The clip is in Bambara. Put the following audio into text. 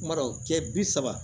Kuma dɔw tile bi saba